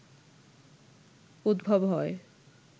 উদ্ভব হয়